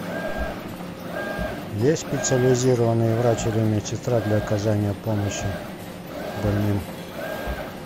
есть специализированный врач или медсестра для оказания помощи больным